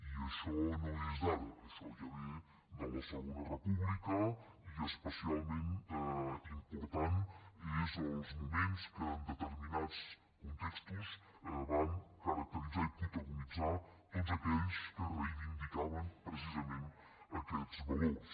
i això no és d’ara això ja ve de la segona república i especialment importants són els moments que en determinats contextos van caracteritzar i protagonitzar tots aquells que reivindicaven precisament aquests valors